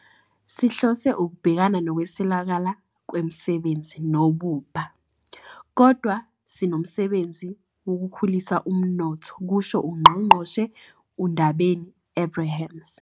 "Sihlose ukubhekana nokuswelakala kwemisebenzi nobubha, kodwa sinomsebenzi wokukhulisa umnotho," kusho uNgqongqoshe uNdabeni-Abrahams.